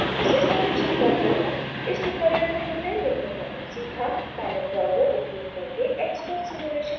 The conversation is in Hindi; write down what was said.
इसे सारांशित करते हैं इस ट्यूटोरियल में हमने निम्न करना सीखा: palette browser उपयोग करके xcos simulation डायग्राम्स बनाना